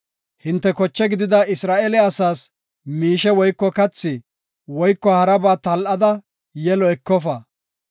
Hinte koche gidida Isra7eele asaas miishe woyko kathi woyko haraba tal7ada yelo ekofa.